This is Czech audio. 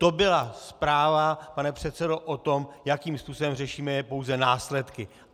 To byla zpráva, pane předsedo, o tom, jakým způsobem řešíme pouze následky.